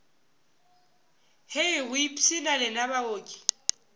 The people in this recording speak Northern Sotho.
hei go ipshina lena baoki